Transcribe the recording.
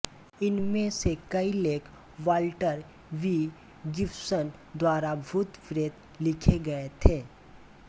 इनमें से कई लेख वाल्टर बी गिब्सन द्वारा भूतप्रेत लिखे गए थे